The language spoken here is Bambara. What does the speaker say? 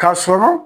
Ka sɔrɔ